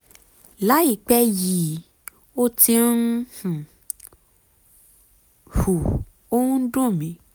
láìpẹ́ yìí ó ti ń um hù ó ń dùn mí